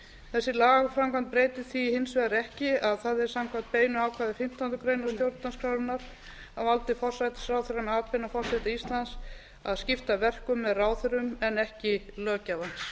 þessi lagaframkvæmd breytir því hins vegar ekki að það er samkvæmt beinu ákvæði fimmtándu grein stjórnarskrárinnar á valdi forsætisráðherra með atbeina forseta íslands að skipta verkum með ráðherrum en ekki löggjafans